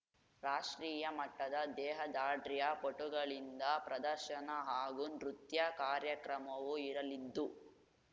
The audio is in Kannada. ರಾಷ್ಟ್ರೀಯ ಮಟ್ಟದ ದೇಹದಾಢ್ರ್ಯ ಪಟುಗಳಿಂದ ಪ್ರದರ್ಶನ ಹಾಗೂ ನೃತ್ಯ ಕಾರ್ಯಕ್ರಮವೂ ಇರಲಿದ್ದು